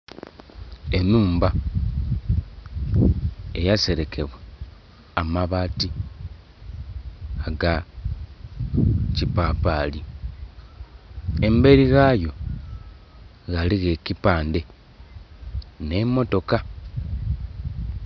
Enhumba eyaserekebwa amabaati aga kipapali emberi ghayo ghaligho ekipandhe ne motoka.